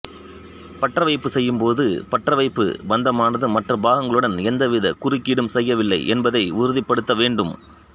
பற்றவைப்பு செய்யும் போது பற்றவைப்பு பந்தமானது மற்ற பாகங்குளுடன் எந்தவித குறுக்கீடும் செய்யவில்லை என்பதை உறுதிபடுத்த வேண்டும்